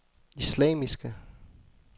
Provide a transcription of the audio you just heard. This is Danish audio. islamiske